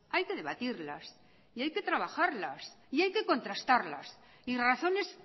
hay que debatirlas y hay que trabajarlas y hay que contrastarlas y razones